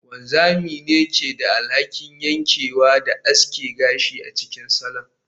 Wanzami ne ke da alhakin yankewa da aske gashi a cikin salon